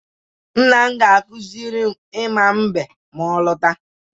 Nna m ga-akụziri m ịma mbem ma ọ lọta.